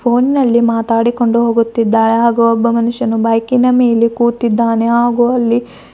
phone ನಲ್ಲಿ ಮಾತಾಡಿಕೊಂಡು ಹೋಗುತ್ತಿದ್ದಾಳೆ ಹಾಗೂ ಒಬ್ಬ ಮನುಷ್ಯನು ಬೈಕಿನ ಮೇಲೆ ಕೂತಿದ್ದಾನೆ ಹಾಗೂ ಅಲ್ಲಿ--